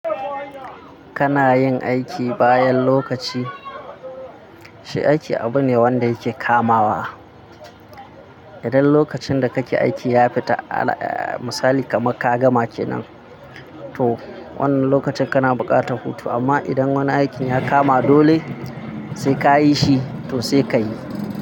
Kana yin aiki bayan lokaci, shi aiki abu ne wanda yake kamawa. Idan lokacin da kake aiki ya fita, misali kaman ka gama kenan, to wannan lokacin kana buƙatar hutu. Amma idan wani aikin ya kama dole sai ka yi shi, to sai ka yi.